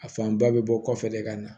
A fanba bɛ bɔ kɔfɛ de ka na